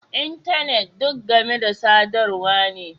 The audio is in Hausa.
Intanet duk game da sadarwa ne